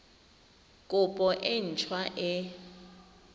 kopo e nt hwa e